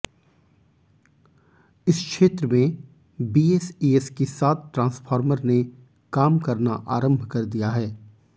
इस क्षेत्र में बीएसईएस की सात ट्रांसफॉर्मर ने काम करना आरंभ कर दिया है